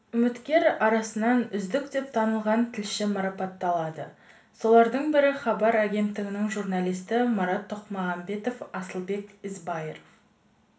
үміткер арасынан үздік деп танылған тілші марапатталды солардың бірі хабар агенттігінің журналисі марат тоқмағамбет асылбек ізбайыров